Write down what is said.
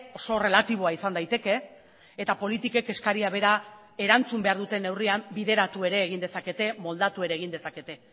oso erlatiboa izan daiteke eta politikek eskaria bera erantzun behar duten neurrian bideratu ere egin dezakete moldatu ere egin dezakete